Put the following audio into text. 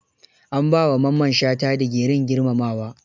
An ba wa Mamman shata digirin girmamawa.